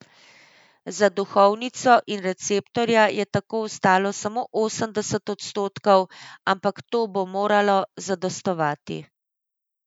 Za duhovnico in receptorja je tako ostalo samo osemdeset odstotkov, ampak to bo moralo zadostovati.